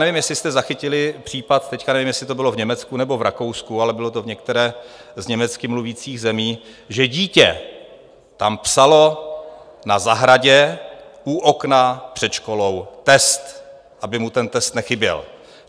Nevím, jestli jste zachytili případ - teď nevím, jestli to bylo v Německu nebo v Rakousku, ale bylo to v některé z německy mluvících zemí - že dítě tam psalo na zahradě u okna před školou test, aby mu ten test nechyběl.